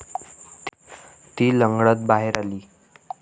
ती लंगडत बाहेर आली.